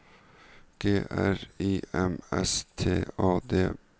G R I M S T A D